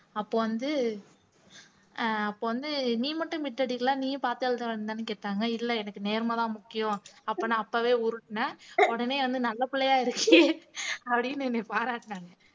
அப்போ வந்து ஆஹ் அப்போ வந்து நீ மட்டும் bit அடிக்கலை நீயும் பார்த்து எழுத வேன்னுதானே கேட்டாங்க இல்லை எனக்கு நேர்மைதான் முக்கியம் அப்ப நான் அப்பவே உருட்டுனேன் உடனே வந்து நல்ல பிள்ளையா இருக்கியே அப்படின்னு என்னை பாராட்டினாங்க